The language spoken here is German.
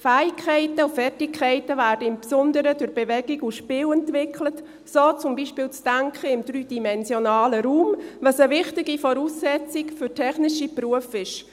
Fähigkeiten und Fertigkeiten werden insbesondere durch Bewegung und Spiel entwickelt, so zum Beispiel das Denken im dreidimensionalen Raum, was eine wichtige Voraussetzung für technische Berufe ist.